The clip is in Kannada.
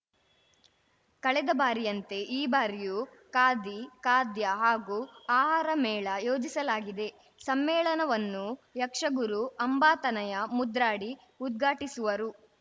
ಕಳೆದ ಬಾರಿಯಂತೆ ಈ ಬಾರಿಯೂ ಖಾದಿ ಖಾದ್ಯ ಹಾಗೂ ಆಹಾರ ಮೇಳ ಯೋಜಿಸಲಾಗಿದೆ ಸಮ್ಮೇಳನವನ್ನು ಯಕ್ಷಗುರು ಅಂಬಾತನಯ ಮುದ್ರಾಡಿ ಉದ್ಘಾಟಿಸುವರು